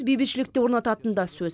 бейбітшілікті орнататын да сөз